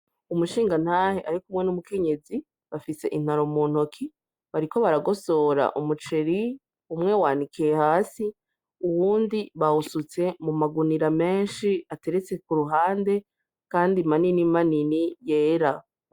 Umushingantahe arikumwe n'umukenyezi bafise intaro mu ntoki, bariko baragosora umuceri, umwe wanikiye hasi, uwundi bawusutse muma gunira menshi ateretse kuruhande kandi manini manini yera.